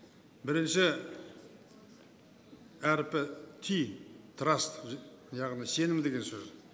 бірінші әрпі ти траст яғни сенім деген сөз